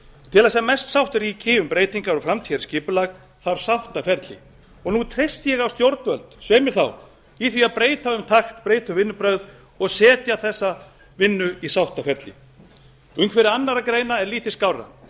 til þess að mest sátt ríki um breytingar og framtíðarskipulag þarf sáttaferli og nú treysti ég á stjórnvöld svei mér þá í því að breyta um takt breyta um vinnubrögð og setja þessa vinnu í sáttaferli umhverfi annarra greina er lítið skárra